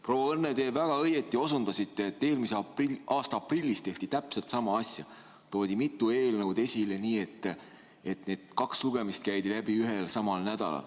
Proua Õnne, te väga õigesti osutasite, et eelmise aasta aprillis tehti täpselt sama asja, mitme eelnõu puhul käidi kaks lugemist läbi ühel ja samal nädalal.